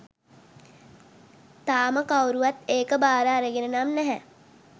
තාම කවුරුවත් ඒක භාර අරගෙන නම් නැහැ.